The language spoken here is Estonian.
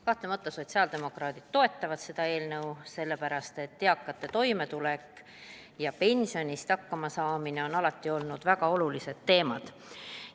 Kahtlemata sotsiaaldemokraadid toetavad seda eelnõu sellepärast, et eakate toimetulek ja pensioniga hakkamasaamine on alati olnud väga olulised teemad.